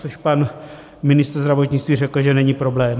- Což pan ministr zdravotnictví řekl, že není problém.